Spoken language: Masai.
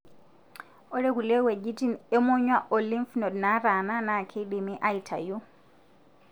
ore kulie weujitin emonyua o lymph node nataana na kidimi aitayu.